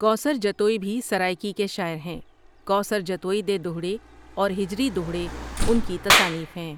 کوثر جتوئی بھی سرائیکی کے شاعر ہیں کوثر جتوئی دے دوہڑے اور ہجری دوہڑے ان کی تصانیف ہیں ۔